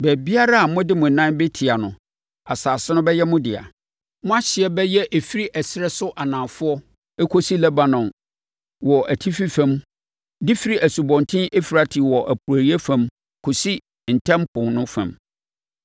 Baabiara a mode mo nan bɛtia no, asase no bɛyɛ mo dea. Mo ahyeɛ bɛyɛ ɛfiri ɛserɛ so anafoɔ kɔsi Lebanon wɔ atifi fam de firi Asubɔnten Eufrate wɔ apueeɛ fam kɔsi Ntam Po no fam.